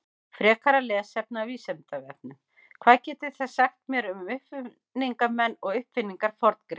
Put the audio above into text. Frekara lesefni af Vísindavefnum: Hvað getið þið sagt mér um uppfinningamenn og uppfinningar Forngrikkja?